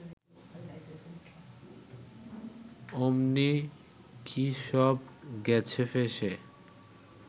অমনি কি সব গেছে ফেঁসে